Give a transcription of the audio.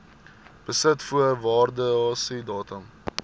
besit voor waardasiedatum